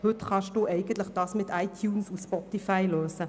Heute können Sie ihr Bedürfnis Musikhören mit iTunes oder Spotify lösen.